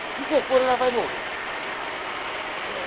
Porque se eu for, ela vai morrer.